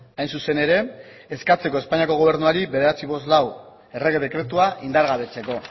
hain zuzen ere eskatzeko espainiako gobernuari bederatziehun eta berrogeita hamalau errege dekretua indargabetzeko